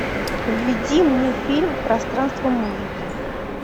введи мне фильм пространство музыки